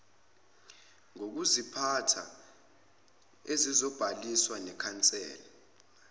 ngokuziphatha ezizobhaliswa nekhansela